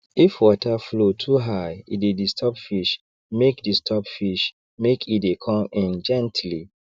if water flow too high e dey disturb fish make disturb fish make e dey con in gently